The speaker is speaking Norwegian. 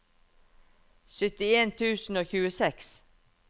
syttien tusen og tjueseks